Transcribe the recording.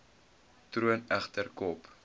troon egter kop